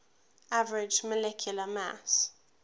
average molecular mass